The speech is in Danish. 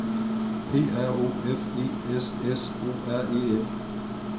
P R O F E S S O R E N